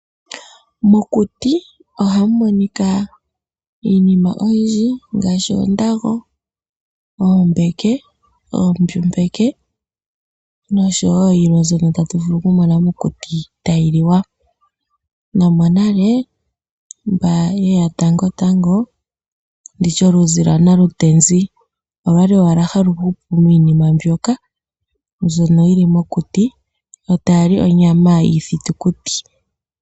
Mokuti ohamu monika iinima oyindji ngaashi oondago, ombeke, oombyu mbeke, nosho woo yilwe mbyona tatu vulu okumona mokuti tayi liwa no monale mba yeya tango tango ndi shi oluzi lya nalu ntezi olyali owahal hali hupu miinima mbika mbyono yili mokuti etayali ii thitukuti.